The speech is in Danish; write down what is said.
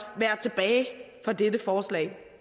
være tilbage for dette forslag